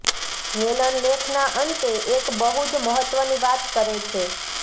Helen લેખના અંતે એક બહુ જ મહત્ત્વની વાત કરે છે